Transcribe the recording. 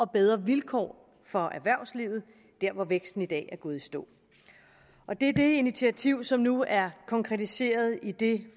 bedre vilkår for erhvervslivet der hvor væksten i dag er gået i stå og det er det initiativ som nu er konkretiseret i det